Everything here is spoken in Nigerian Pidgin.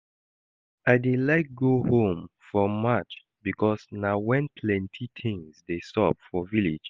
I dey like go home for March because na when plenty things dey sup for village